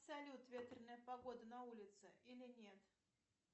салют ветреная погода на улице или нет